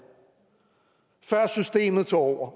før systemet tog over